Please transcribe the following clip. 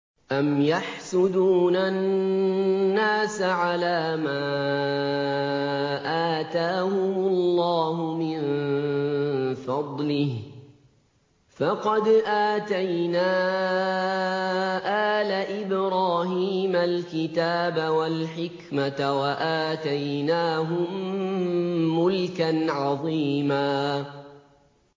أَمْ يَحْسُدُونَ النَّاسَ عَلَىٰ مَا آتَاهُمُ اللَّهُ مِن فَضْلِهِ ۖ فَقَدْ آتَيْنَا آلَ إِبْرَاهِيمَ الْكِتَابَ وَالْحِكْمَةَ وَآتَيْنَاهُم مُّلْكًا عَظِيمًا